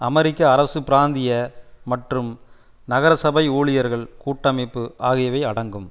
அமெரிக்க அரசு பிராந்திய மற்றும் நகர சபை ஊழியர்கள் கூட்டமைப்பு ஆகியவை அடங்கும்